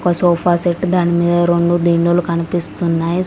ఒక సోఫాసెట్ దాని మీద రెండు దిండులు కనిపిస్తున్నాయ్.